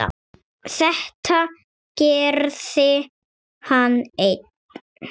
Þetta gerði hann einn.